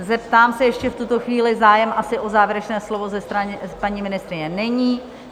Zeptám se ještě v tuto chvíli, zájem asi o závěrečné slovo ze strany paní ministryně není?